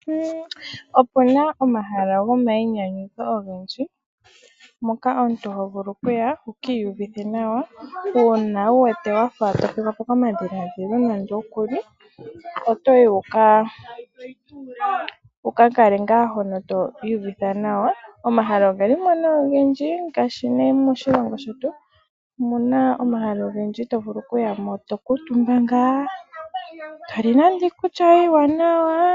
Opuna omahala gomayinyanyudho ogendji moka omuntu hovulu okuya wuki iyuvithe nawa ,uuna wuwete wafa tothigwapo komadhiladhilo otoyi wukakale ngaa hono to iyuvitha nawa . Omahala ogelimo nee ogendji ngaashi moshilongo shetu omuuna omahala ogendji mpoka toyi tokuutumba ngaa ngoye toli nande iikulya yoye iiwanawa .